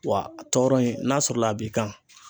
Wa a tɔɔrɔ in n'a sɔrɔla a b'i kan